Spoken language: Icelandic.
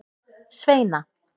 Sveina